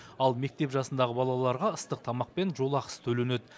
ал мектеп жасындағы балаларға ыстық тамақ пен жолақысы төленеді